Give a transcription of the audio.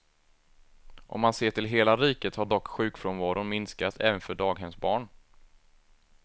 Om man ser till hela riket har dock sjukfrånvaron minskat även för daghemsbarn.